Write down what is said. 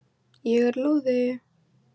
Ég er lúði.